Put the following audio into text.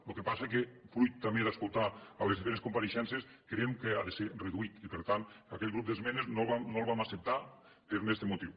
lo que passa que fruit també d’escoltar les diferents compareixences creiem que ha de ser reduït i per tant aquell grup d’esmenes no el vam acceptar per este motiu